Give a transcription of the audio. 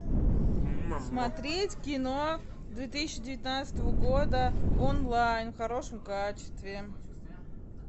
смотреть кино две тысячи девятнадцатого года онлайн в хорошем качестве